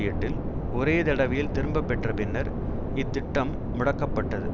எட்டில் ஒரேதடவையில் திரும்ப பெற்ற பின்னர் இத்திட்டம் முடக்கப்பட்டது